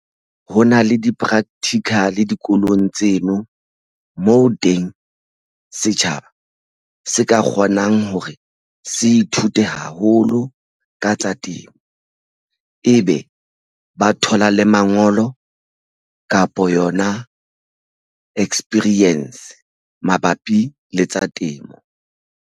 Ho na le di-practical dikolong tseno moo teng setjhaba se ka kgonang hore se ithute haholo ka temo e be ba thola le mangolo kapo yona experience mabapi le tsa temo.